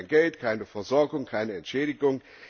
Er bekommt kein Geld, keine Versorgung, keine Entschädigung.